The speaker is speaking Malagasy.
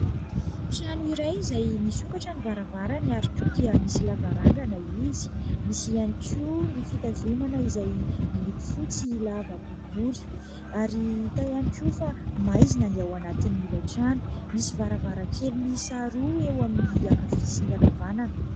Trano iray izay misokatra ny varavarany ary koa dia misy lavarangana izy, misy ihany koa ny fitazomana izay miloko fotsy lava boribory ary hita ihany koa fa maizina ny ao anatin'ilay trano ; misy varavarankely miisa roa eo amin'ny ankavia sy ny ankavanana.